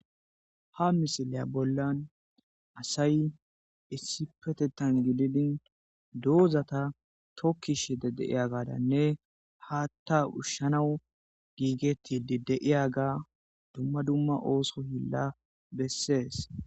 Ha misiliya bollan asay issi petettan gididin doozata tokkishede deiya gadanne haatta ushshanawu giigettide deiya ga dumma dumma ooso hilla bessees.